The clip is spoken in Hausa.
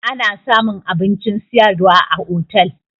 Ana samun abincin sayarwa a otel